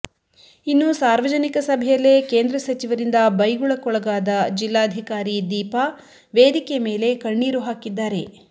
ಇನ್ನು ಸಾರ್ವಜನಿಕ ಸಭೆಯಲ್ಲೇ ಕೇಂದ್ರ ಸಚಿವರಿಂದ ಬೈಗುಳಕ್ಕೊಳಗಾದ ಜಿಲ್ಲಾಧಿಕಾರಿ ದೀಪಾ ವೇದಿಕೆ ಮೇಲೆ ಕಣ್ಣೀರು ಹಾಕಿದ್ದಾರೆ